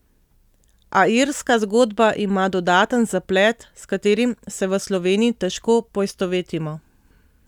A irska zgodba ima dodaten zaplet, s katerim se v Sloveniji težko poistovetimo.